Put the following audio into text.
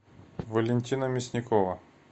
валентина мясникова